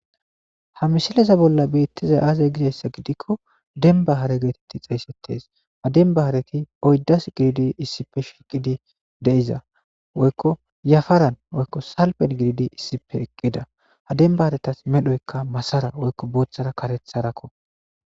Ha misileza bolla betizay azee gizaysa gidikon demba hare getetidi xeygetees. Ha demba hareti oydazi shiqidi issippe shiqidi de'osona woyko yafaran woyko salfen gididi issippe eqida ha demba haretas medhoy madara woyko karethara bootharako.